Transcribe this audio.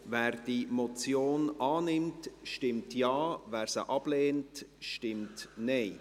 Wer diese Motion annimmt, stimmt Ja, wer diese ablehnt, stimmt Nein.